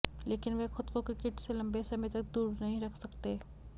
लेकिन वह खुद को क्रिकेट से लंबे समय तक दूर नहीं रख सकते